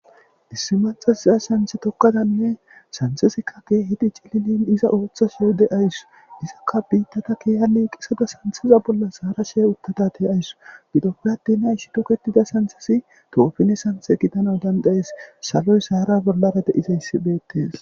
issi mathasiza santhe tokkadanne santhesikka geehidi cilinin iza ooththa sheede aysu izakka biittata keeyali qisada santhiza bolla saara shee uttatate aysu gidopiradena ishi doketida santhesi toofine santhe gidana dandayes saloy saara bollara deizayssi beettes